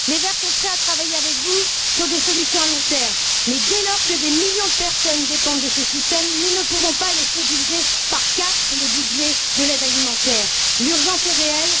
Les Verts sont prêts à travailler avec vous sur des solutions à long terme mais, dès lors que des millions de personnes dépendent de ce système, nous ne pouvons pas laisser diviser par quatre le budget de l'aide alimentaire. L'urgence est réelle.